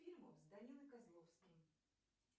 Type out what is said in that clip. фильмы с данилом козловским